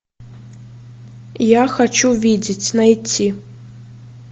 я хочу видеть найти